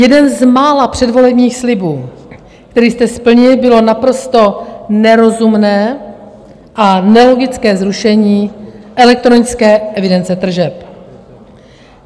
Jeden z mála předvolebních slibů, který jste splnili, bylo naprosto nerozumné a nelogické zrušení elektronické evidence tržeb.